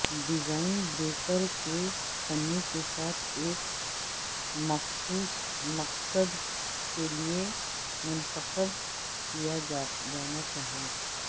design breaker کے تنوع کے ساتھ ایک مخصوص مقصد کے لئے منتخب کیا جانا چاہئے